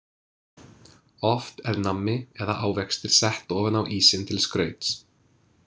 Oft er nammi eða ávextir sett ofan á ísinn til skrauts.